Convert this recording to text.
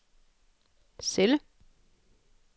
celle